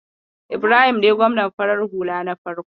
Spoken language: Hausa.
Ibrahim ne gwamnan farar hula na farko.